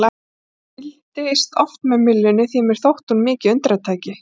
Ég fylgdist oft með myllunni því að mér þótti hún mikið undratæki.